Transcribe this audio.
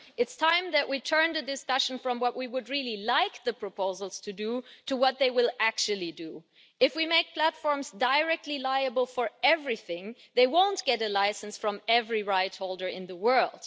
It is time that we turned the discussion away from what we would like the proposals to do, towards what they will actually do. If we make platforms directly liable for everything, they won't get a licence from every rightholder in the world.